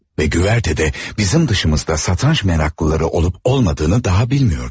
Ve güvertede bizim dışımızda satranç meraklıları olup olmadığını daha bilmiyordum.